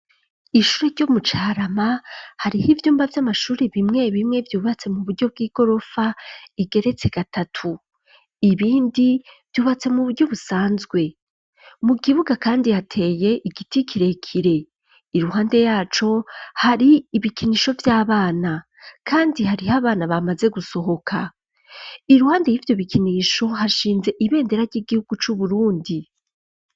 Ishure ryo mu Carama, hariho ivyumba vy'amashuri bimwe bimwe vyubatse mu buryo bw'igorofa igeretse gatatu. Ibindi vyubatse mu buryo busanzwe. Mu kibuga kandi hateye igiti kirekire, iruhande yaco hari ibikinisho vy'abana kandi hariho abana bamaze gusohoka. Iruhande y'ivyo bikinisho hashinze ibendera ry'igihugu c'Uburundi.